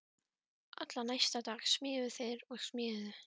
Allan næsta dag smíðuðu þeir og smíðuðu.